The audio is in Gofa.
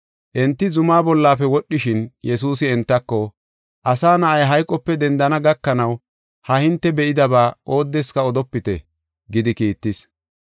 Enti zumaa bollafe wodhishin Yesuusi entako, “Asa Na7ay hayqope dendana gakanaw ha hinte be7idaba oodeska odopite” gidi kiittis.